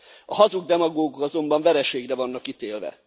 A hazug demagógok azonban vereségre vannak ítélve.